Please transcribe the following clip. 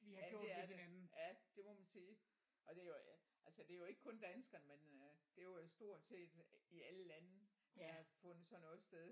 Jamen det er det ja det må man sige og det er jo ja altså det er jo ikke kun danskerne men øh det er jo stort set i alle lande hvor der har fundet sådan noget sted